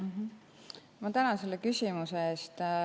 Ma tänan selle küsimuse eest.